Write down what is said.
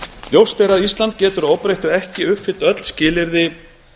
ljóst er að ísland getur að óbreyttu ekki uppfyllt öll skilyrði